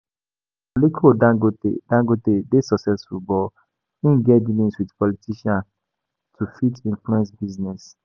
Aliko dangote dangote dey successful but im get dealings with politicians to fit influence business